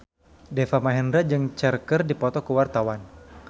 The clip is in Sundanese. Deva Mahendra jeung Cher keur dipoto ku wartawan